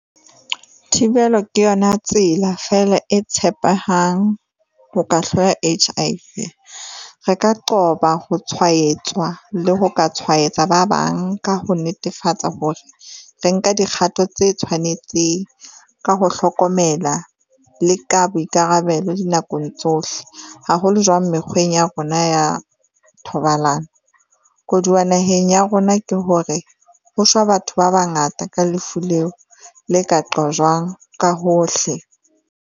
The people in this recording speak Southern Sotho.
Thibelo ke yona tsela fela e tshepehang ho ka hloya H_I_V. Re ka qoba ho tshwaetswa le ho ka tshwaetsa ba bang ka ho netefatsa hore, re nka dikgato tse tshwanetseng ka ho hlokomela le ka boikarabelo dinakong tsohle. Haholo jwang mekgweng ya rona ya thobalano. Koduwa naheng ya rona ke hore ho shwa batho ba bangata ka lefu leo le ka qojwang ka hohle.